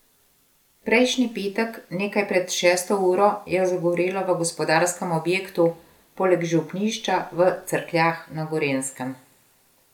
Prejšnji petek nekaj pred šesto uro je zagorelo v gospodarskem objektu poleg župnišča v Cerkljah na Gorenjskem.